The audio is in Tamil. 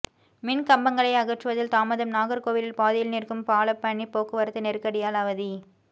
மின் கம்பங்களை அகற்றுவதில் தாமதம் நாகர்கோவிலில் பாதியில் நிற்கும் பாலப்பணி போக்குவரத்து நெருக்கடியால் அவதி